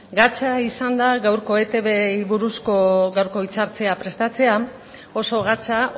gatza izan da gaurko eitbri buruzko gaurko hitzartzea prestatzea oso gatza